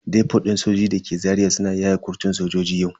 Depot din sojojin dake Zaria suna yaye kurtun sojoji yau.